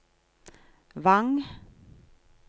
Vang